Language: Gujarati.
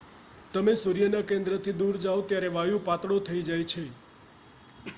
તમે સૂર્યના કેન્દ્રથી દૂર જાવ ત્યારે વાયુ પાતળો થઈ જાય છે